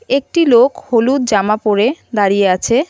একটি লোক হলুদ জামা পরে দাঁড়িয়ে আছে.